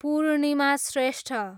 Purnima Shrestha